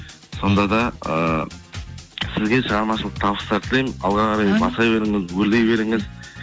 сонда да ыыы сізге шығармашылық табыстар тілеймін алға қарай баса беріңіз өрлей беріңіз